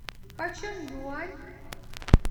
почем юань